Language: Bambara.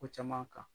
Ko caman kan